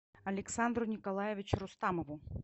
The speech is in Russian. александру николаевичу рустамову